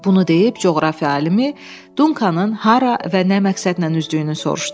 Bunu deyib coğrafiya alimi, Duncanın hara və nə məqsədlə üzdüyünü soruşdu.